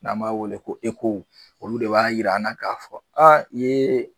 N'an b'a wele ko ECHO olu de b'a yira an na k'a fɔ a